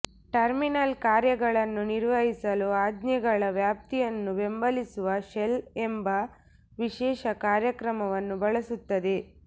terminal ಕಾರ್ಯಗಳನ್ನು ನಿರ್ವಹಿಸಲು ಆಜ್ಞೆಗಳ ವ್ಯಾಪ್ತಿಯನ್ನು ಬೆಂಬಲಿಸುವ ಶೆಲ್ ಎಂಬ ವಿಶೇಷ ಕಾರ್ಯಕ್ರಮವನ್ನು ಬಳಸುತ್ತದೆ